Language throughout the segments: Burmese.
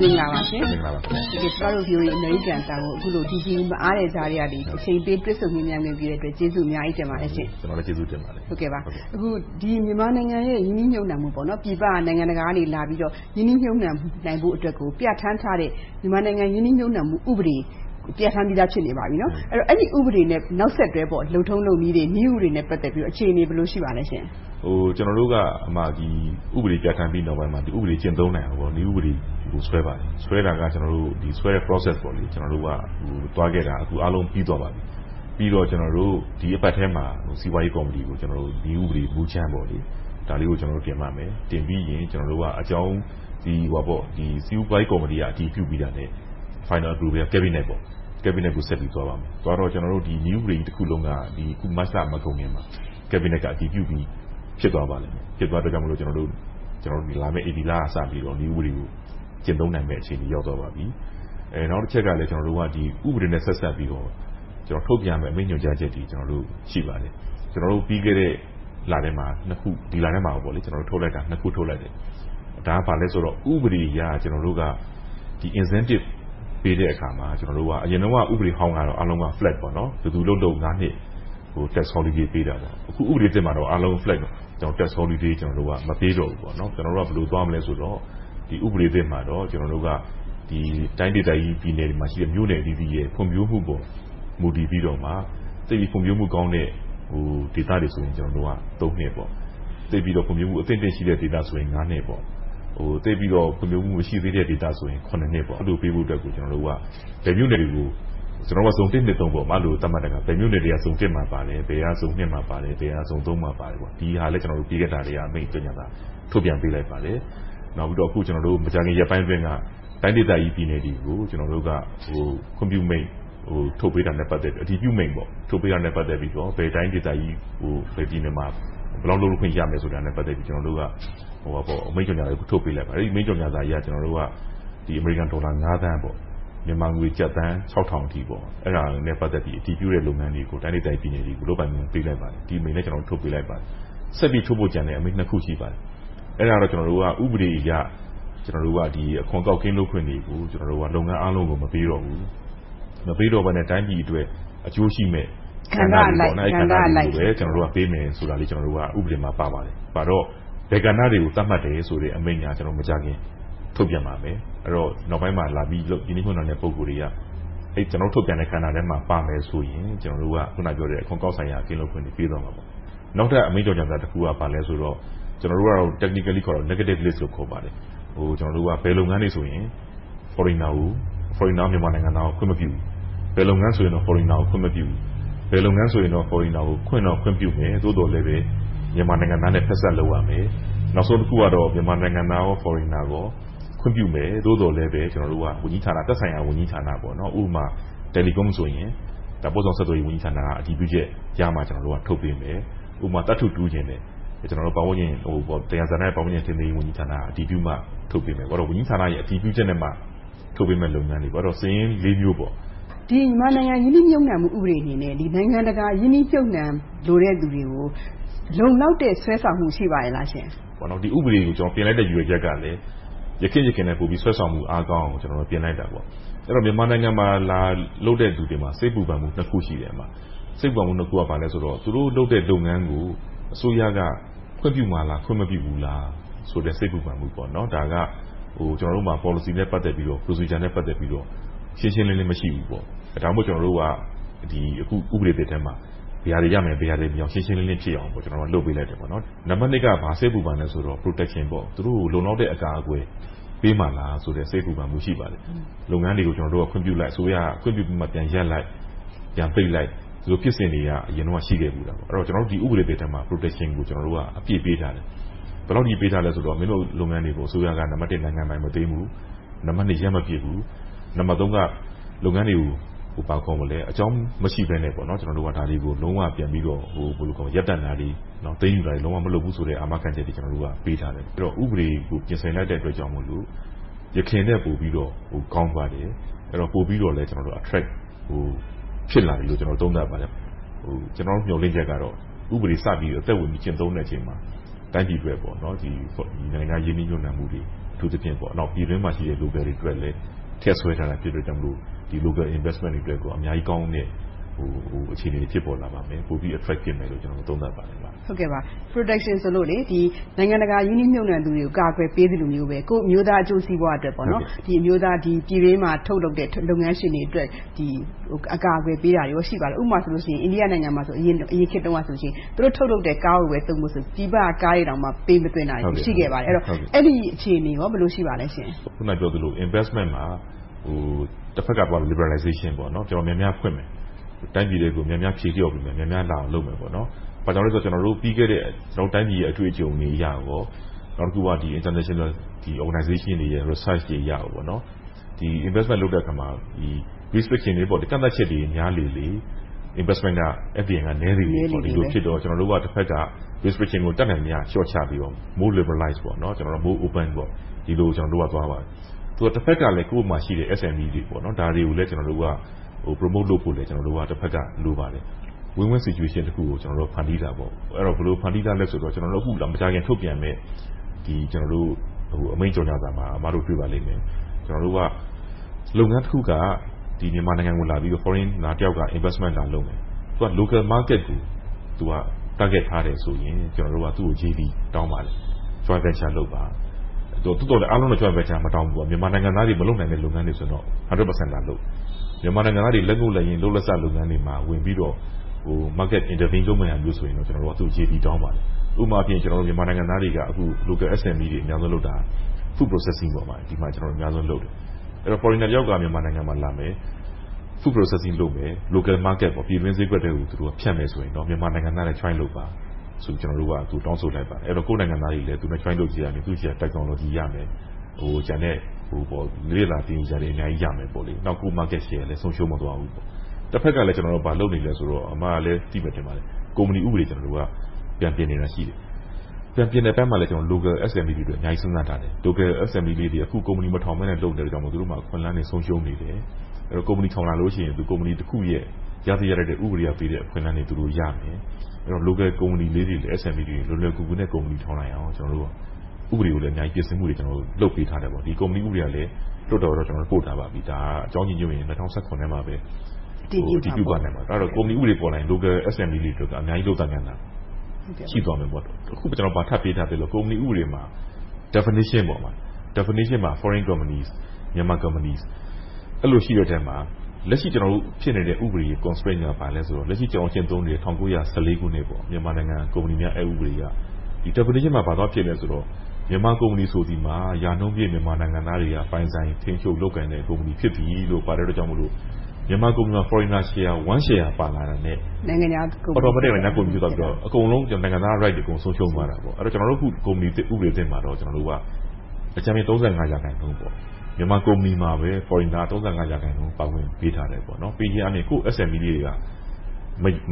မင်္ဂလာပါရှင်။ ကျမတို့ VOA အမေရိကန်အသံကို မအားတဲ့ကြားကနေ အချိန်ပေးတွေ့ဆုံမေးမြန်းခွင့်ပြုတဲ့အတွက် ကျေးဇူးအများကြီးတင်ပါတယ်ရှင့်။ ဦးအောင်နိုင်ဦး ။ ။ မင်္ဂလာပါ။ ကျနော်လည်း ကျေးဇူးတင်ပါတယ်။ ဒေါ်ခင်စိုးဝင်း ။ ။ မြန်မာနိုင်ငံရဲ့ ရင်းနှီးမြုပ်နံှမှု ပြည်ပနိုင်ငံတကာကနေလာပြီးတော့ ရင်းနှီးမြုပ်နံှမှုအတွက်ကို ပြဌာန်းထားတဲ့ မြန်မာနိုင်ငံ ရင်းနှီးမြုပ်နံှမှု ဥပဒေ ပြဌာန်းပြီးဖြစ်နေပါပြီနော်။ အဲဒီ ဥပဒေနဲ့ နောက်ဆက်တွဲ လုပ်ထုံးလုပ်နည်းတွေ၊ နည်းဥပဒေတွေနဲ့ ပတ်သက်ပြီး အခြေအနေ ဘယ်လို ရှိပါလဲရှင့်။ ဦးအောင်နိုင်ဦး ။ ။ ကျနော်တို့က ဥပဒေပြဌာန်းပြီးနောက်ပိုင်းမှာ ဥပဒေ ကျင့်သုံးနိုင်အောင် နည်းဥပဒေတွေကို ဆွဲပါတယ်။ ဆွဲတာက ကျနော်တို့ Process ကို သွားခဲ့တာ အခု အားလုံးပြီးသွားပါပြီ။ ပြီးတော့ ကျနော်တို့ ဒီအပတ်ထဲမှာ စီးပွားရေးကော်မတီကို နည်းဥပဒေ မူကြမ်းကို တင်ပါမယ်။ တင်ပြီးရင် စီးပွားရေးကော်မတီက အတည်ပြုပြီးတာနဲ့ Final Approval အတွက် Cabinet ဆက်ပြီး သွားပါမယ်။ သွားတော့ နည်းဥပဒေကြီးတခုလုံးက မတ်လမကုန်ခင်မှာ Cabinet က အတည်ပြုပြီး ဖြစ်သွားပါလိမ့်မယ်။ ဖြစ်သွားတဲ့အတွက်ကြောင့် လာမယ့် ဧပြီလကစပြီးတော့ နည်းဥပဒေကို ကျင့်သုံးနိုင်မယ့် အခြေအနေရောက်သွားပါပြီ။ နောက်တချက်ကလည်း ကျနော်တို့က ဥပဒေနဲ့ ဆက်စပ်ပြီးတော့ ထုတ်ပြန်ရမယ့် အမိန့်ညွှန်ကြားချက်တွေ ရှိပါတယ်။ ပြီးခဲ့တဲ့ လထဲမှာ နှစ်ခု။ ဒီလထဲမှာ နှစ်ခုထုတ်လိုက်တယ်။ ဒါက ဘာလဲဆိုတော့ ဥပဒေအရ ကျနော်တို့က Incentive ပေးတဲ့အခါမှာ ကျနော်တို့က အရင်တုန်းက ဥပဒေဟောင်းကတော့ အားလုံး Flat.. ဘယ်သူလုပ်လုပ် နှစ်က Tax holiday ပေးတယ်။ ဒီဥပဒေသစ်မှာတော့ အားလုံး Flat.. Tax holiday မပေးတော့ဘူး။ ကျနော်တို့က ဘယ်လိုသွားမလဲဆိုတော့ ဒီဥပဒေသစ်မှာတော့ တိုင်းဒေသကြီးပြည်နယ်တွေမှာရှိတဲ့ မြို့နယ်အသီးသီးရဲ့ ဖွံ့ဖြိုးမှုပေါ် မူတည်ပြီးမှ သိပ်ဖွံ့ဖြိုးမှုကောင်းတဲ့ ဒေသတွေဆိုရင် နှစ်။ ဖွံ့ဖြိုးမှုအသင့်အတင်ရှိတဲ့ဒေသဆိုရင် နှစ်။ ဖွံ့ဖြိုးမှုသိပ်မရှိတဲ့ဒေသဆိုရင် နှစ်။ အဲဒီလိုပေးဖို့အတွက်ကို ကျနော်တို့က ဇုန် သတ်မှတ်ပြီး ဘယ်မြို့နယ်က ဇုန် မှာပါတယ်။ ဘယ်မြို့က ဇုန် နဲ့ ဇုန် မှာပါတယ်… အမိန့်ကြေညာစာ ထုတ်ပြန်ပေးလိုက်ပါတယ်။ နောက်ပြီးတော့ မကြာမီရက်ပိုင်းအတွင်းက တိုင်းဒေသကြီးပြည်နယ်တွေကို ခွင့်ပြုမိန့်ထုတ်ပေးတာနဲ့ အတည်ပြုအမိန့် ပတ်သတ်ပြီးတော့ ဘယ်တိုင်းဒေသကြီး ဘယ်ပြည်နယ်မှာ ဘယ်လောက်လုပ်ခွင့်ရတယ်ဆိုတာနဲ့ ပတ်သက်ပြီး အမိန့်ကြေညာစာ ထုတ်ပေးလိုက်ပါတယ်။ အဲဒီအမိန့်ကြေညာစာအရ အမေရိကန်ဒေါ်လာ သန်း၊ မြန်မာငွေ တိုင်းဒေသကြီးပြည်နယ်တွေကို လုပ်ပိုင်ခွင့် ပေးလိုက်ပါပြီ။ ဒီအမိန့်လည်း ထုတ်ပေးလိုက်ပါပြီ။ ဆက်ပြီးထုတ်မယ့် အမိန့်နှစ်ခု ရှိပါတယ်။ အဲဒါတွေက ဥပဒေအရ အခွန်ကောက်ကင်းလွှတ်ခွင့်တွေကို လုပ်ငန်းအားလုံးကို မပေးတော့ဘူး။ မပေးတော့ဘဲနဲ့ တိုင်းပြည်အတွက် အကျိုးရှိမယ့် ကဏ္ဍအလိုက်ပဲပေးမယ်ဆိုတာ ဥပဒေမှာပါပါတယ်။ ပါတော့ ဘယ်ကဏ္ဍတွေကို သတ်မှတ်တယ်ဆိုတဲ့ အမိန့်က မကြာခင် ထုတ်ပြန်ပါမယ်။ အဲဒီတော့ နောက်ပိုင်းမှာ ရင်းနှီးမြုပ်နံှတဲ့ ပုဂ္ဂိုလ်တွေက ထုတ်ပြန်တဲ့ကဏ္ဍထဲမှာ ပါမယ်ဆိုရင် အခွန်ကောက်ဆိုင်ရာ ကင်းလွှတ်ခွင့်ကို ပေးသွားမှာပါ။ နောက်ထပ် အမိန့်ကြေညာစာတခုက ဘာလဲဆိုတော့ ကျနော်တို့က Technically ခေါ်တာ Negative List လို့ ခေါ်ပါတယ်။ ဘယ်လုပ်ငန်းတွေဆိုရင် Foreigner မြန်မာနိုင်ငံသားကို ခွင့်မပြုဘူး။ ဘယ်လုပ်ငန်းဆိုရင် Foreigners ကို ခွင့်မပြုဘူး။ ဘယ်လုပ်ငန်းဆိုရင် Foreigners ကို ခွင့်တော့ခွင့်ပြုမယ် သို့သော် မြန်မာနိုင်ငံသားနဲ့ ဖက်စပ်လုပ်ရမယ်။ နောက်ဆုံးတခုကတော့ မြန်မာနိုင်ငံသားနဲ့ Foreigners တို့ကို ခွင့်ပြုမယ်။ သို့သော်လဲ သက်ဆိုင်ရာဝန်ကြီးဌာန - ဥပမာ Telecom ဆိုရင် ပို့ဆောင်ဆက်သွယ်ရေးဝန်ကြီးဌာနက အတည်ပြုချက်ရမှ ထုတ်ပေးမယ်။ ဥပမာ သတ္တုတူးချင်တယ်ဆိုရင် ပတ်ဝန်းကျင်နဲ့သယံဇာတဝန်ကြီးဌာနက အတည်ပြုမှ ထုတ်ပေးမယ်။ ဝန်ကြီးဌာနတွေ အတည်ပြုချက်ရမှ ထုတ်ပေးမယ့်လုပ်ငန်းတွေပေါ့။ ဒေါ်ခင်စိုးဝင်း ။ ။ ဒီမြန်မာနိုင်ငံ ရင်းနှီးမြုပ်နံှမှု ဥပဒေအနေနဲ့ နိုင်ငံတကာရင်းနှီးမြုပ်နံှချင်တဲ့လူတွေကို လုံလောက်တဲ့ ဆွဲဆောင်မှု ရှိပါရဲ့လားရှင့်။ ဦးအောင်နိုင်ဦး ။ ။ ဒီဥပဒေတွေကို ပြင်လိုက်တဲ့ ရည်ရွယ်ချက်ကလည်း ယခင့်ယခင်နဲ့ ဆွဲဆောင်မှုအားကောင်းအောင် ပြင်လိုက်တာပါ။ အဲဒီတော့ မြန်မာနိုင်ငံမှာ လာပြီးတော့ လုပ်တဲ့လူတွေမှာ စိတ်ပူပန်မှု နှစ်ခုရှိတယ်။ အဲဒီနှစ်ခုက သူတို့လုပ်တဲ့လုပ်ငန်းကို အစိုးရက ခွင့်ပြုမှာလား၊ ခွင့်မပြုဘူးလားဆိုတဲ့ စိတ်ပူပန်မှု။ ဒါက ကျနော်တို့မှာ ပေါ်လစီနဲ့ ပတ်သက်ပြီး Procedure နဲ့ ပတ်သက်ပြီးတော့ ရှင်းရှင်းလင်းလင်း မရှိဘူး။ ဒါကြောင့် ကျနော်တို့က ဥပဒေသစ်ထဲမှာ ရှင်းရှင်းလင်းလင်းဖြစ်အောင် လုပ်ပေးလိုက်တယ်။ နံပတ်နှစ်က ဘာစိတ်ပူပန်လဲဆိုတော့ Protection. သူတို့က လုံလောက်တဲ့ အကာအကွယ်ပေးမှာလားဆိုတဲ့ စိတ်ပူပန်မှု ရှိပါတယ်။ လုပ်ငန်းတွေကို ကျနော်တို့က ခွင့်ပြုလိုက် အစိုးရက ခွင့်ပြုပြီးမှ ပြန်ရပ်လိုက်။ ပြန်ပိတ်လိုက်။ ဒီလိုဖြစ်စဉ်တွေက အရင်တုန်းက ရှိခဲ့ဖူးတယ်။ ဒီဥပဒေသစ်ထဲမှာ ကျနော်တို့က Protection အပြည့်ပေးထားတယ်။ ဘယ်လောက်အထိ ပေးထားလဲဆိုတော့ မင်းတို့လုပ်ငန်းတွေကို အစိုးရက နိုင်ငံတော်ပိုင်မသွင်းဘူး။ နံပတ်နှစ် ရပ်မပြစ်ဘူး။ နံပတ်သုံးက လုပ်ငန်းတွေကို အကြောင်းမရှိဘဲနဲ့ ဒါတွေကို ရပ်တန့်တာတွေ၊ သိမ်းယူတာတွေ လုံးဝမလုပ်ဘူးဆိုတာတွေ အာမခံချက်တွေ ပေးထားတယ်။ ဥပဒေတွေကို ပြင်ဆင်လိုက်တဲ့အတွက်ကြောင့် ယခင်ထက်ပိုပြီးတော့ ကောင်းသွားတယ်။ ပိုပြီးတော့လဲ အခက်ကို ဖြစ်လာပြီးလို့ သုံးသပ်ပါတယ်။ ကျနော်တို့ မျှော်လင့်ချက်ကတော့ ဥပဒေစပြီး အသက်ဝင်ကျင့်သုံးတဲ့အချိန်မှာ တိုင်းပြည်အတွက် နိုင်ငံခြားရင်းနှီးမြုပ်နံှမှုတွေ။ အထူးသဖြင့် ပြည်တွင်းမှာရှိတဲ့ Local တွေအတွက်လည်း ထည့်ဆွဲထားတယ်။ Local investment တွေအတွက် အများကြီးကောင်းတဲ့ အခြေအနေတွေ ဖြစ်လာပါမယ်။ ပိုပြီး effect ဖြစ်မယ်လို့ သုံးသပ်ပါတယ်။ ဒေါ်ခင်စိုးဝင်း ။ ။ Protection ဆိုလို့ နိုင်ငံတကာရင်းနှီးမြုပ်နံှသူတွေကို ကာကွယ်ပေးသလိုမျိုးပဲ ကိုယ့်အမျိုးသားအကျိုးစီးပွားအတွက် ပြည်တွင်းမှာထုတ်လုပ်တဲ့ လုပ်ငန်းရှင်တွေအတွက် အကာအကွယ်ပေးတာတွေ ရှိပါလား။ အိန္ဒိယနိုင်ငံမှာဆိုရင် အရင်ခေတ်တုန်းကဆိုရင် သူတို့ထုတ်လုပ်တဲ့ ကားကိုပဲ သုံးဖို့ဆိုပြီး ပြည်ပကကားတွေကို ပေးမသွင်းတာရှိခဲ့တယ်။ အဲဒီအခြေအနေ ဘယ်လိုရှိပါလဲရှင့်။ ဦးအောင်နိုင်ဦး ။ ။ အခုနပြောသလို Investment မှာ တဖက်က Liberalization များများဖွင့်မယ်။ ဖြေလျော့ပေးမယ်။ များများလာအောင်လုပ်မယ်။ နောက်တခုက ပြီးခဲ့တဲ့ ကျနော်တို့တိုင်းပြည် အတွေ့အကြုံတွေအရ နဲ့ International Organizations တွေရဲ့ Research တွေအရ Investment လုပ်တဲ့အခါမှာ ကန့်သတ်ချက်တွေများလေလေ Investment က နည်းလေလေဖြစ်တော့ ကျနော်တို့က တဘက်က Restriction ကို တတ်နိုင်သမျှ လျှော့ချပြီးတော့ More Liberalize, More Open ဒီလို ကျနော်တို့ကသွားမယ်။ တဘက်ကလဲ ကိုယ်မှာရှိတဲ့ SMEs တွေ ဒါတွေကိုလဲ Promo လုပ်ဖို့ လိုပါတယ်။ Win-Win Situation တခုကို ဖန်တီးတာပေါ့။ ဘယ်လို ဖန်တီးထားလဲဆိုတော့ မကြာခင်ထုတ်ပြန်မယ့် အမိန့်ကြော်ညာစာမှာ တွေ့ပါလိမ့်မယ်။ လုပ်ငန်းတခုက မြန်မာနိုင်ငံကိုလာပြီး Invest လုပ်မယ်။ သူက Local Market ကို Target ထားတယ်ဆိုရင် သူကို ကျနော်တို့က JD တောင်းပါတယ် - မြန်မာနိုင်ငံသားတွေ မလုပ်နိုင်တဲ့ လုပ်ငန်းတွေဆိုရင် 100% လာလုပ်။ မြန်မာနိုင်ငံသားတွေ လုပ်လက်စလုပ်ငန်းတွေမှာ ဝင်ပြီးတော့ Marketing လုပ်မယ်ဆိုရင်လဲ သူကို JD တောင်းပါတယ်။ ဥပမာ မြန်မာနိုင်ငံသားတွေက Local SMEs တွေလုပ်တာ Food processing ဒီပေါ်မှာ အများဆုံးလုပ်တယ်။ Foreigner တယောက်ကလာမယ် Food processing လုပ်မယ်။ Local market ပြည်တွင်းဈေးကွက်ထဲကို ဖြန့်မယ်ဆိုရင်တော့ မြန်မာနိုင်ငံသားတွေနဲ့ Joint လုပ်ပါဆိုပြီး တောင်းဆိုလိုက်ပါတယ်။ မြန်မာနိုင်ငံသားတွေလည်း သူနဲ့ Joint လုပ်ပြီး သူဆီက Technology ရမယ်။ ကျန်တဲ့ သင်ယူစရာတွေ အများကြီးရမယ်။ နောက် ကိုယ့် Market လည်း ဆုံးရှုံးမသွားဘူး။ တဘက်ကလဲ ဘာလုပ်နေလဲဆိုတော့ ကုမ္ပဏီဥပဒေ ပြန်ပြင်နေတာရှိတယ်။ ပြန်ပြင်တဲ့အပိုင်းမှာလဲ Local SMEs တွေကို အများကြီးစဉ်းစားထားတယ်။ Local SME တွေ။ အခု ကုမ္ပဏီမထောင်ဘဲနဲ့ လုပ်နေလို့ သူတို့မှာ အခွင့်အလမ်းတွေ ဆုံးရှုံးနေတယ်။ ကုမ္ပဏီထောင်လာလို့ရှိရင် ကုမ္ပဏီတခုရဲ့ ရသင့်ရထိုက်တဲ့ ဥပဒေကပေးတဲ့ အခွင့်အလမ်းတွေရမယ်။ အဲဒီတော့ Local ကုမ္ပဏီလေးတွေ၊ SMEs တွေ လွယ်လွယ်ကူကူနဲ့ ကုမ္ပဏီထောင်နိုင်အောင် ဥပဒေအရ ပြင်ဆင်မှုတွေကို လုပ်ပေးထားတယ်။ ဒီ ကုမ္ပဏီဥပဒေကလဲ လွှတ်တော်ကို ပို့ထားပြီးပါပြီ။ အကြောင်းညီညွှတ်ရင် ၂၀၁၇ ထဲမှာပဲ အတည်ပြုသွားနိုင်ပါတယ်။ အဲဒီ ကုမ္ပဏီဥပဒေ ပေါ်လာရင် Local SMEs တွေ အများကြီးလုပ်ကိုင်နိုင်မှု ရှိသွားမယ်။ တခုထပ်ပေးထားတာက ကုမ္ပဏီဥပဒေမှာ Definition မှာ Foreign companies, Myanmar companies အဲဒီလိုရှိတဲ့အထဲမှာ လက်ရှိရှိနေတဲ့ ဥပဒေရဲ့ Constraint က ဘာလဲဆိုတော့ လက်ရှိကျင့်သုံးနေတဲ့ ၁၉၁၄ ခုနှစ် မြန်မာနိုင်ငံများ အက်ဥပဒေအရ ဒီ Definition မှာ ဘာရေးထားလဲဆိုတော့ မြန်မာကုမ္ပဏီဆိုသည်မှာ ရာနှုန်းပြည့် မြန်မာနိုင်ငံသားတွေက ပိုင်ဆိုင်ထိန်းချုပ်လုပ်ကိုင်တဲ့ ကုမ္ပဏီဖြစ်သည်လို့ ပါတဲ့အတွက်ကြောင့်မို့ မြန်မာကုမ္ပဏီတွေမှာ Foreigners တွေက 1% Share ပါလာတာနဲ့ Automatic နိုင်ငံခြားကုမ္ပဏီဖြစ်သွားပြီးတော့ အကုန်လုံး နိုင်ငံသား Rights တွေ ဆုံးရှုံးသွားတာပေါ့။ ကုမ္ပဏီဥပဒေသစ်မှာတော့ အကြမ်းမျဉ်း ၃၅ ရာခိုင်နှုန်း မြန်မာကုမ္ပဏီမှာ နိုင်ငံခြားသားက ၃၅ ရာခိုင်နှုန်းပါဝင်ခွင့် ပေးထားတယ်။ ကိုယ့် SMEs တွေက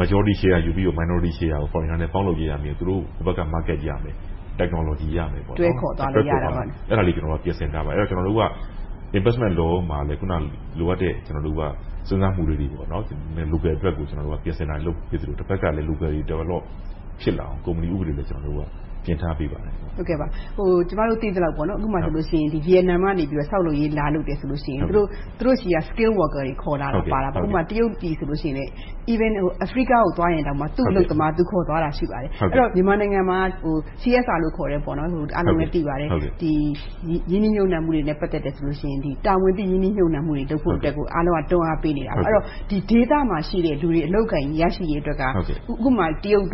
Majority share ယူပြီးတော့ Minority share ကို Foreigners နဲ့ ပေါင်းလုပ်ရဲရမယ်။ သူတို့ဆီက Market နဲ့ Technology ရမယ်။ တွဲခေါ်သွားနိုင်တယ်။ အဲဒါတွေ ပြင်ဆင်ထားပါတယ်။ အဲဒီတော့ Investment Law မှာလဲ လိုအပ်တဲ့ စဉ်းစားမှုလေးတွေကို Local အတွက် ပြင်ဆင်နိုင်လို့ တဘက်ကလဲ Local တွေ ရှိလာအောင် ကုမ္ပဏီဥပဒေကို ပြင်ထားပေးပါတယ်။ ဒေါ်ခင်စိုးဝင်း ။ ။ ကျမတို့ သိသလောက် ဥပမာ ဗီယက်နမ်ကနေ ဆောက်လုပ်ရေးလာလုပ်တယ်ဆိုရင် သူတို့ဆီက Skilled workers တွေ ခေါ်လာတယ်။ ဥပမာ တရုတ်တွေဆိုရင်လဲ အာဖရိကကိုသွားရင်တောင် သူ့အလုပ်သမား သူခေါ်သွားတာ ရှိပါတယ်။ အဲဒီတော့ မြန်မာနိုင်ငံမှာ CSR ခေါ်တဲ့ ရင်းနှီးမြုပ်နံှမှုတွေနဲ့ ပတ်သက်တယ်ဆိုရင် တာဝန်သိရင်းနှီးမြုပ်နံှမှုတွေလုပ်ဖို့ကို အားလုံးက တွန်းအားပေးနေတာ။ ဒီဒေသမှာရှိတဲ့ လူတွေ အလုပ်အကိုင်ရရှိရေးအတွက်က တရုတ်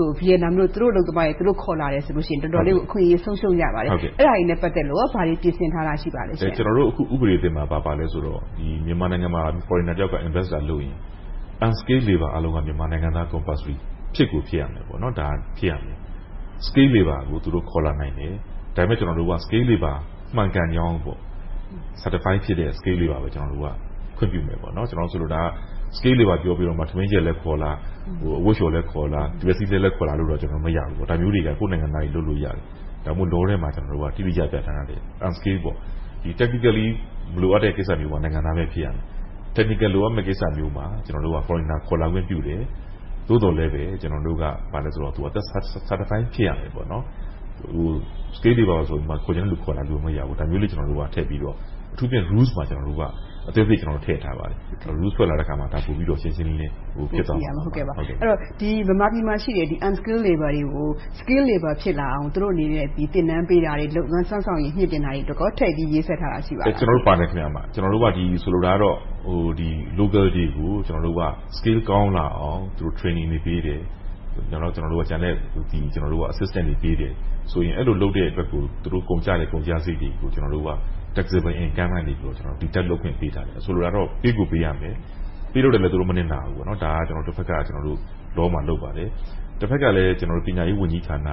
၊ ဗီယက်နမ်တို့က သူတို့အလုပ်သမားတွေ သူတို့ခေါ်လာတယ်ဆိုရင် တော်တော်လေး ဆုံးရှုံးရပါတယ်။ အဲဒါတွေနဲ့ ပတ်သက်လို့ ဘာတွေပြင်ဆင်ထားတာတွေ ရှိပါလဲ။ ဦးအောင်နိုင်ဦး ။ ။ ကျနေ်ာတို့ ဥပဒေသစ်မှာ ဘာပါလဲဆိုတော့ မြန်မာနိုင်ငံမှာ Foreigner တယောက်က Invest လာလုပ်ရင် Unskilled labors အားလုံးက မြန်မာနိုင်ငံသားတွေ ဖြစ်ကိုဖြစ်ရမယ်။ Skilled labors ကို သူတို့ခေါ်လာနိုင်တယ်။ ဒါပေမဲ့ Skilled labors မှန်ကန်ကြောင်းကို Certified ဖြစ်တဲ့ Skilled labors ကို ခွင့်ပြုမယ်။ ဆိုလိုတာက Skilled labors ဆိုပြီး ထမင်းချက်ခေါ်လာ၊ အဝတ်လျှော်လည်းခေါ်လာ။ တံမြက်စည်းလှဲလည်းခေါ်လာ မရဘူး။ ဒါမျိုးတွေက ကိုယ့်နိုင်ငံသားတွေ လုပ်လို့ရတယ်။ ဒါကြောင့် လုပ်ငန်းတွေမှာ တိတိကျကျ Unskilled.. Technically မလိုအပ်တဲ့ကိစ္စတွေမှာ နိုင်ငံသားပဲ ဖြစ်ရမယ်။ Technical လိုအပ်တဲ့ကိစ္စမှာ Foreigners ခေါ်လာခွင့်ပြုတယ်။ သို့သော်လဲပဲ ကျနော်တို့က Certified ဖြစ်ရမယ်။ Skilled labors ဆိုပြီး ခေါ်ချင်တဲ့လူ ခေါ်လာလို့မရဘူး။ ဒါကြောင့် Rules မှာ အသေးစိတ်ထည့်ထားပါတယ်။ Rules ထွက်လာတဲ့အခါ ရှင်းရှင်းလင်းလင်း သိရပါမယ်။ ဒေါ်ခင်စိုးဝင်း ။ ။ အဲဒီတော့ မြန်မာပြည်မှာရှိတဲ့ Unskilled labors တွေကို Skilled labors ဖြစ်လာအောင် သူတို့အနေနဲ့ သင်တန်းပေးတာတွေ၊ စွမ်းဆောင်ရည်မြှင့်တင်တာတွေအတွက်ကော ထည့်ပြီးရေးဆွဲထားတာ ရှိပါလား။ ဦးအောင်နိုင်ဦး ။ ။ ပါမယ်။ ဆိုလိုတာကတော့ Local တွေကို Skills ကောင်းလာအောင် Training တွေပေးတယ်။ ကျန်တဲ့ Assistances တွေပေးတယ်ဆိုရင် သူတို့ကုန်ကျတဲ့ ကုန်ကျစရိတ်တွေကို Taxable Income ကနေ Deduct လုပ်ခွင့်ပေးထားတယ်။ ဆိုလိုတာကတော့ ပေးကိုပေးရမယ်။ ပေးတဲ့အတွက် သူတို့ မနစ်နာဘူးဆိုတာကို Law မှာ လုပ်ထားပါတယ်။ တဘက်ကလဲ ပညာရေးဝန်ကြီးဌာန၊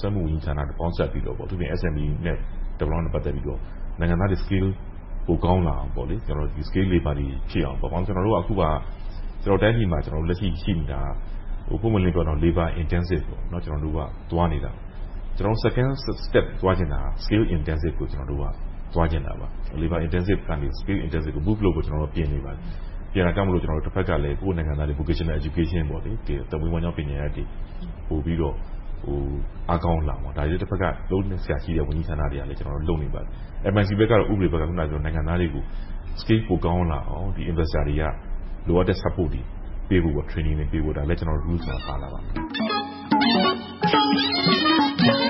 စက်မှုဝန်ကြီးဌာနတို့ ပေါင်းစပ်ပြီးတော့ အထူးသဖြင့် SMEs Development နဲ့ ပတ်သက်ပြီး နိုင်ငံသားတွေ Skills ပိုကောင်းလာအောင် Skilled labors တွေဖြစ်အောင်.. အခုက ကျနော်တို့တိုင်းပြည်မှာ ရှိနေတာက ပွင့်ပွင့်လင်းလင်းပြောရရင် Labor intensive သွားနေတာ။ ကျနော်တို့ Second step သွားချင်တာက Skill intensive ကို သွားချင်တာ Labor intensive ကနေ Skill intensive ကို Move လုပ်ဖို့ ပြင်နေပါတယ်။ အဲဒါကြောင့်လဲ ကိုယ့်ရဲ့နိုင်ငံသားတွေကို Vocational education သက်မွေးဝမ်းကြောင်းပညာရပ်ေတွေ ပိုပြီးတော့ အားကောင်းလာအောင် ဒါတွေကို ဝန်ကြီးဌာနတွေက လုပ်နေပါတယ်။ MIC ဘက်က နိုင်ငံသားတွေကို Skills ပိုကောင်းလာအောင် လိုအပ်တဲ့ Support တွေ ပေးသွားဖို့ ကျနော်တို့ Rules မှာပါပါတယ်